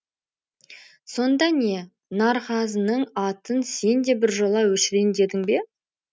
сонда не нарғазының атын сен де біржола өшірейін дедің бе